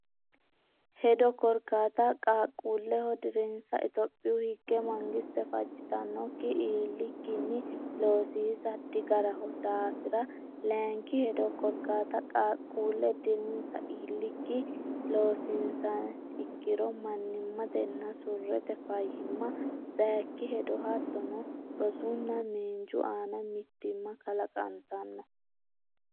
hedo Korkaata Qaaqquulleho dirinsa Itophiyu Higge mangiste fajjitannokki iillikkinni loosiisa digaraho daafira Layinki hedo Korkaata Qaaqquulle dirinsa iillikkinni loosiinsiha ikkiro mannimmatenna surrete fayyimma Sayikki hedo hattono rosunna miinju aana mitiimma kalaqantara.